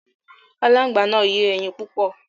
Aláǹgbá náà yé ẹyin púpọ̀.